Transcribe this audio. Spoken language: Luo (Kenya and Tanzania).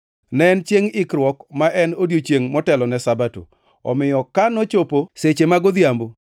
Ne en Chiengʼ Ikruok (ma en odiechiengʼ motelone Sabato). Omiyo ka nochopo seche mag odhiambo,